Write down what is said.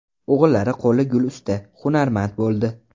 O‘g‘illari qo‘li gul usta, hunarmand bo‘ldi.